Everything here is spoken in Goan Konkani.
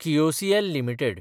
KIOCL limited